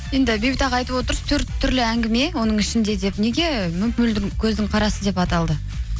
енді бейбіт аға айтып отыр төрт түрлі әңгіме оның ішінде деп неге мөп мөлдір көздің қарасы деп аталды